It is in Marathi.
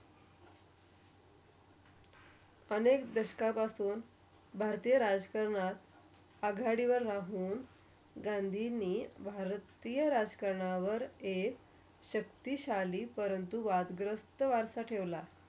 अनेक दशकं पासून भारतीय राजकरणात आघाडीवर राहून. गांधींनी भरतीया राजकरणावर एक शक्तिशाली परंतु वाढगरस्त वारसा ठेवला.